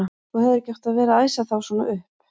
Þú hefðir ekki átt að vera að æsa þá svona upp!